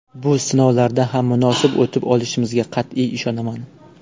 Bu sinovdan ham munosib o‘tib olishimizga qat’iy ishonaman.